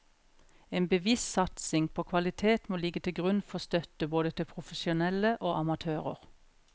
En bevisst satsing på kvalitet må ligge til grunn for støtte både til profesjonelle og amatører.